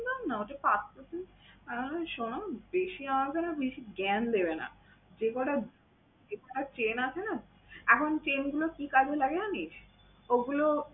একদম না ওটা পাতলা chain । আমি বললাম শোনো বেশি আমাকে না বেশি জ্ঞান দেবে না। যে কয়টা এখানে chain আছে না? এখন chain গুলো কি কাজে লাগে জানিস? ওগুলো